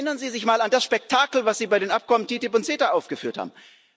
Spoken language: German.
Erinnern Sie sich mal an das Spektakel, das Sie bei den Abkommen TTIP und CETA aufgeführt haben.